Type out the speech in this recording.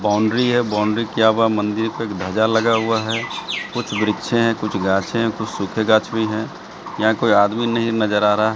boundary है boundary किया हुआ मंदिर पे ध्वजा लगा हुआ है कुछ वृक्षे है कुछ घासे हैं कुछ सूखे गाछ भी हैं यहां कोई आदमी नहीं नजर आ रहा--